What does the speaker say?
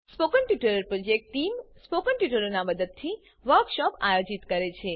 spoken tutorial project team spoken ટ્યુટોરીયલોનાં ઉપયોગથી વર્કશોપોનું આયોજન કરે છે